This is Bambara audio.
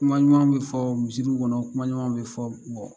Kuma ɲumanw bi fɔ misiri kɔnɔ, kuma ɲumanw bi fɔ